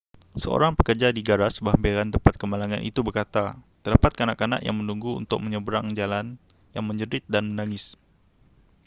seorang pekerja di garaj berhampiran tempat kemalangan itu berkata terdapat kanak-kanak yang menunggu untuk menyeberang jalan yang menjerit dan menangis